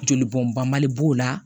Joli bɔn bali b'o la